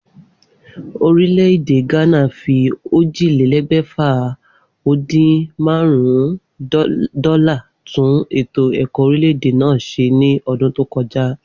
Orílè̩-èdè Gánà fi ójìlélé̩gbè̩fà-o-din-márún-ún dó̩là tún ètò è̩kó̩ orílè̩-èdè náà s̩e ní o̩dún tó ko̩já